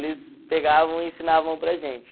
Eles pegavam e ensinavam para a gente.